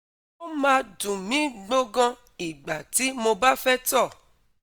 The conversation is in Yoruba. o ma dun mi gboggon igba ti mo ba fe to